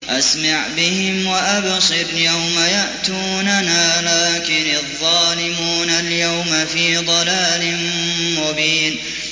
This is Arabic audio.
أَسْمِعْ بِهِمْ وَأَبْصِرْ يَوْمَ يَأْتُونَنَا ۖ لَٰكِنِ الظَّالِمُونَ الْيَوْمَ فِي ضَلَالٍ مُّبِينٍ